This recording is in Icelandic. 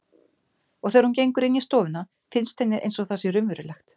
Og þegar hún gengur inn í stofuna finnst henni einsog það sé raunverulegt.